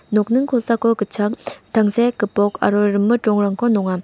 nokning kosako gitchak tangsek gipok aro rimit rongrangko nonga.